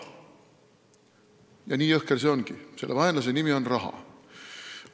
Ja nii jõhker see ongi – selle vaenlase nimi on raha.